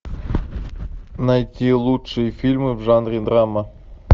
найти лучшие фильмы в жанре драма